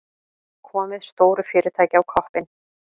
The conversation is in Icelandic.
Komið stóru fyrirtæki á koppinn.